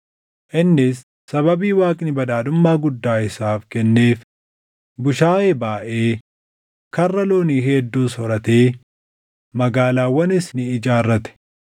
Innis sababii Waaqni badhaadhummaa guddaa isaaf kenneef bushaayee baayʼee, karra loonii hedduus horatee magaalaawwanis ni ijaarrate.